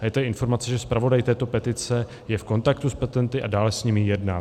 A je tady informace, že zpravodaj této petice je v kontaktu s petenty a dále s nimi jedná.